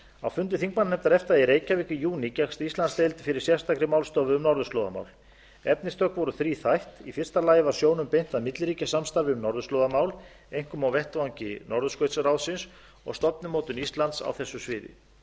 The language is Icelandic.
á fundi þingmannanefndar efta í reykjavík í júní gekkst íslandsdeild fyrir sérstakri málstofu um norðurslóðamál efnistök voru þríþætt í fyrsta lagi var sjónum beint að milliríkjasamstarfi um norðurslóðamál einkum á vettvangi norðurskautsráðsins og stefnumótun íslands á þessu sviði